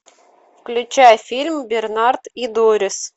включай фильм бернард и дорис